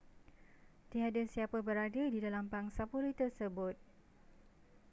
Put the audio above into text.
tiada siapa berada di dalam pangsapuri tersebut